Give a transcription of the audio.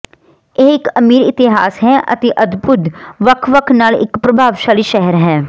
ਇਹ ਇੱਕ ਅਮੀਰ ਇਤਿਹਾਸ ਹੈ ਅਤੇ ਅਦਭੁਤ ਵੱਖ ਵੱਖ ਨਾਲ ਇੱਕ ਪ੍ਰਭਾਵਸ਼ਾਲੀ ਸ਼ਹਿਰ ਹੈ